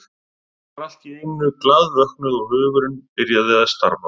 Ég var allt í einu glaðvöknuð og hugurinn byrjaði að starfa.